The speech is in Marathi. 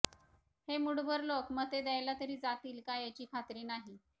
हे मुठभर लोक मते द्यायला तरी जातील का याची खात्री नाही